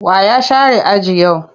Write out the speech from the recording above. Wa ya share aji yau?